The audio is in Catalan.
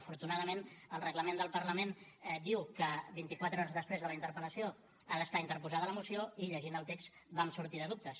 afortunadament el reglament del parlament diu que vint i quatre hores després de la interpel·lació ha d’estar interposada la moció i llegint el text vam sortir de dubtes